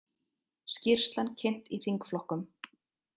Skýrslan kynnt í þingflokkum